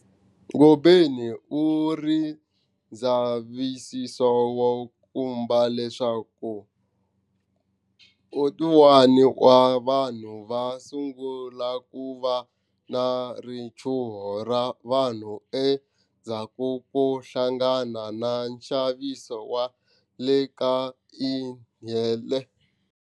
Ngobeni u ri ndzavisiso wu komba leswaku 41 wa vanhu va sungula ku va na richuho ra vanhu endzhaku ko hlangana na nxaniso wa le ka ihele.